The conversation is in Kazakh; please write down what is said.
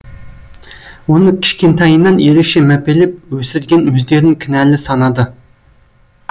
оны кішкентайынан ерекше мәпелеп өсірген өздерін кінәлі санады